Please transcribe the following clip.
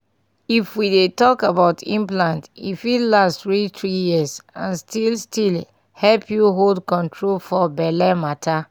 if we dey talk about implant e fit last reach three years and still still help you hold control for belle matter.